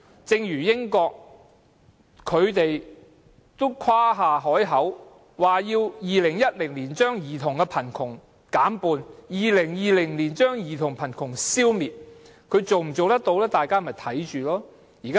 正如英國曾誇下海口，表示會在2010年把兒童貧窮的數字減半 ，2020 年要把兒童貧窮消滅，最終能否實踐，大家拭目以待。